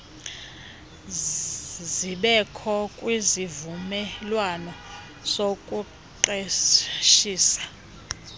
zibekho kwisivumelwano sokuqeshisa